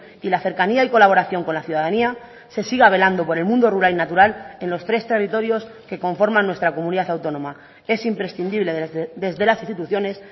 y la cercanía y colaboración con la ciudadanía se siga velando por el mundo rural y natural en los tres territorios que conforman nuestra comunidad autónoma es imprescindible desde las instituciones